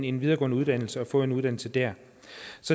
en videregående uddannelse og få en uddannelse der